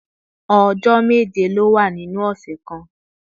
Ọjọ́ méje ni ó wà nínú ọ̀sẹ̀ kan